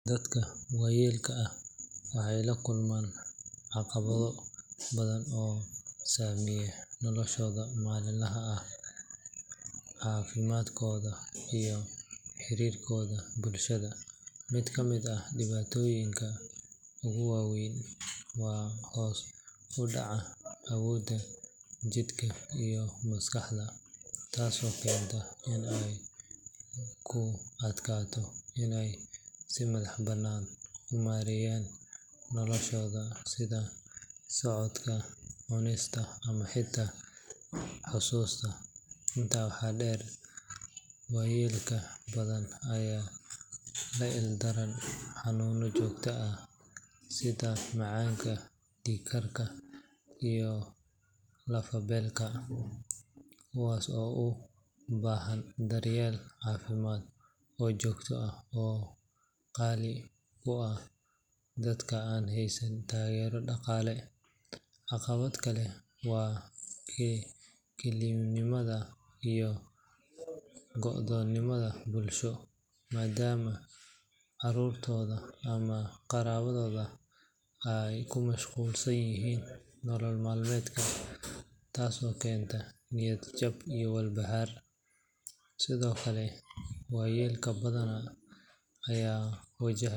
Dadka waayeelka ah waxay la kulmaan caqabado badan oo saameeya noloshooda maalinlaha ah, caafimaadkooda, iyo xiriirkooda bulshada. Mid ka mid ah dhibaatooyinka ugu waa weyn waa hoos u dhaca awoodda jidhka iyo maskaxda, taasoo keenta in ay ku adkaato inay si madax-bannaan u maareeyaan noloshooda sida socodka, cunista, ama xitaa xusuusta. Intaa waxaa dheer, waayeel badan ayaa la ildaran xanuunno joogto ah sida macaanka, dhiig karka, iyo lafo-beelka, kuwaas oo u baahan daryeel caafimaad oo joogto ah oo qaali ku ah dadka aan haysan taageero dhaqaale. Caqabad kale waa kelinimada iyo go'doominta bulsho, maadaama carruurtooda ama qaraabadooda ay ku mashquulsan yihiin nolol maalmeedka, taasoo keenta niyad-jab iyo walbahaar. Sidoo kale, waayeel badan ayaa wajahaya.